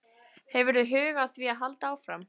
Hefurðu hug á því að halda áfram?